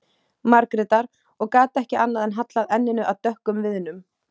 Margrétar, og gat ekki annað en hallað enninu að dökkum viðnum.